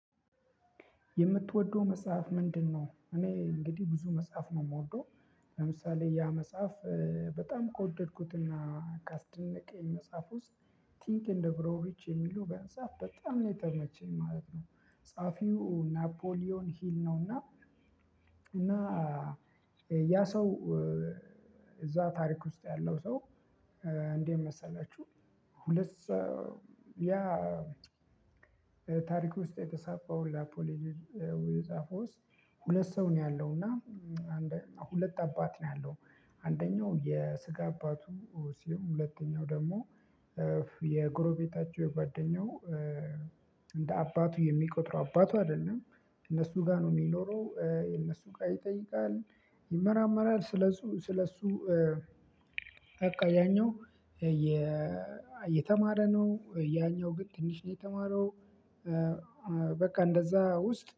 የምትወደው መጽሐፍ ምንድነው? እኔ እንግዲህ ብዙ መጽሐፍ ነው የምወደው። ለምሳሌ ያ መጽሐፍ። በጣም ከወደድኩትና ካስደነቀኝ መጽሐፍ ውስጥ ቲንክ እንደ ብሮቪች የሚሉ በአንጻሩ በጣም ነው የተመቸኝ ማለት ነው። ጸሀፊው ናፖሊዮን ሂል ነውና። እና ያ ሰው እዛ ታሪክ ውስጥ ያለው ሰው። እንዴት መሰላችሁ? ሁለት ያ ታሪክ ውስጥ የተጻፈው ላፖሊ ሊድ የጻፈው ውስጥ። ሁለት ሰው ነው ያለው እና ሁለት አባት ነው ያለው። አንደኛው የስጋ አባቱ ሲሆን ሁለተኛው ደግሞ የጎረቤታቸው የጓደኛው። እንደ አባቱ የሚቆጥረው አባቱ አይደለም። እነሱ ጋር ነው የሚኖረው እነሱ ጋር ይጠይቃል። ይመራመራል ስለሱ ስለሱ። በቃ ያኛው። የተማረ ነው ያኛው ግን ትንሽ ነው የተማረው። በቃ እንደዛ ውስጥ